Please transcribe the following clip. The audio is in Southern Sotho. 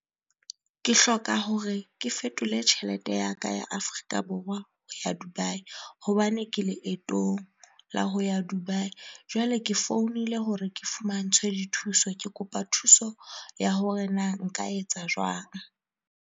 Ke hloka hore ke fetole tjhelete ya ka ya Afrika Borwa ho ya Dubai hobane ke leetong la ho ya Dubai. Jwale ke founile hore ke fumantshwe dithuso ke kopa thuso ya hore na nka etsa jwang.